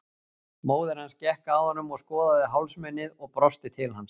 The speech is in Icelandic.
Móðir hans gekk að honum og skoðaði hálsmenið og brosti til hans.